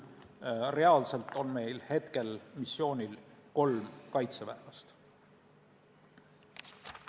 Reaalselt on meil praegu missioonil kolm kaitseväelast.